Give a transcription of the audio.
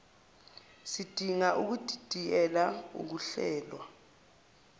sidinga ukudidiyela ukuhlelwa